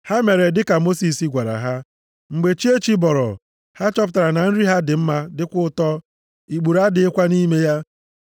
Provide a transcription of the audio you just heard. Ha mere dịka Mosis gwara ha. Mgbe chi echi bọrọ, ha chọpụtara na nri ha dị mma dịkwa ụtọ, ikpuru adịghịkwa nʼime ya.